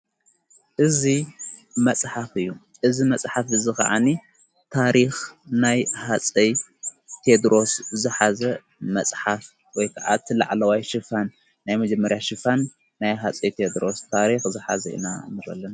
እዙ መጽሓፍ እዩ እዝ መጽሕፍ እዝ ኸዓኒ ታሪኽ ናይ ሃፀይ ቴድሮስ ዝሓዘ መጽሓፍ ወይከዓቲ ላዕለዋይ ሽፋን ናይ መጀመርያ ሽፋን ናይ ሃፀይ ቴድሮስ ታሪኽ ዝኃዘ ኢናእረእለና::